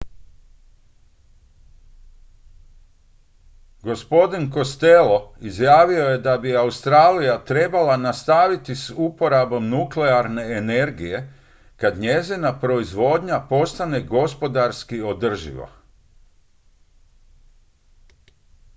gospodin costello izjavio je da bi australija trebala nastaviti s uporabom nuklearne energije kad njezina proizvodnja postane gospodarski održiva